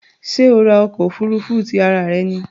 Ṣé o ra ọkọ̀ òfurufú tí ara rẹ ní?